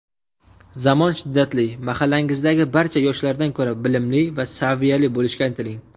Zamon shiddatli mahallangizdagi barcha yoshlardan ko‘ra bilimli va saviyali bo‘lishga intiling.